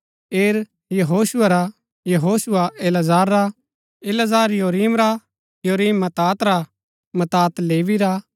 एर यहोशुआ रा यहोशुआ इलाजार रा इलाजार योरीम रा योरीम मत्‍तात रा मत्‍तात लेवी रा